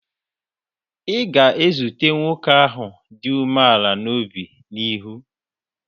Ị ga-ezute nwoke ahụ dị umeala n'obi n'ihu.